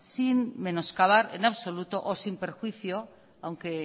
sin menoscabar en absoluto o sin perjuicio aunque